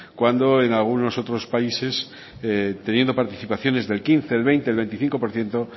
cuando en algunos otros países teniendo participaciones del quince el veinte el veinticinco por ciento